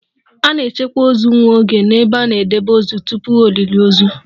A na-echekwa ozu nwa oge n'ebe a na-edebe ozu tupu olili ozu